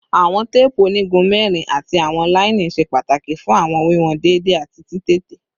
Awọn teepu onigun mẹrin ati awọn laini ṣe pataki fun awọn wiwọn deede ati titete